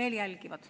veel jälgivad!